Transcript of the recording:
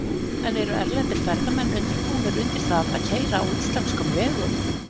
En eru erlendir ferðamenn undirbúnir undir það að keyra á íslenskum vegum?